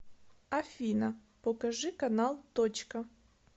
афина покажи канал точка